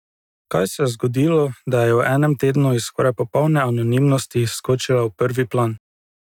Kaj se je zgodilo, da je v enem tednu iz skoraj popolne anonimnosti skočila v prvi plan?